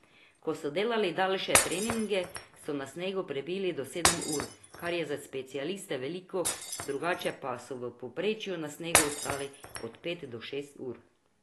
Ko so delali daljše treninge, so na snegu prebili po sedem ur, kar je za specialiste veliko, drugače pa so v povprečju na snegu ostali od pet do šest ur.